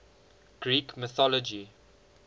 greek mythology